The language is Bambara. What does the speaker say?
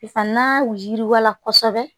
Fana yiriwala kosɛbɛ